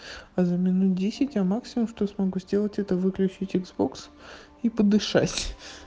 за минут десять максимум что смогу сделать это выключить иксбокс и подышать